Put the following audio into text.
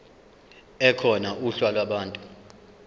ekhona uhla lwabantu